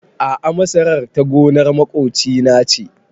A'a masarar ta gonar maƙoci na ce